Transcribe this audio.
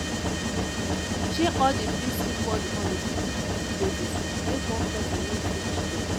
share all di bills equally on a 50/50 basis make one person no feel cheated